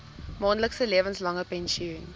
maandelikse lewenslange pensioen